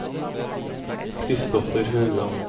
Christopher Haugan